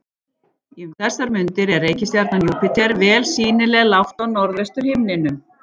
Um þessar mundir er reikistjarnan Júpíter vel sýnileg lágt á norðvestur himninum.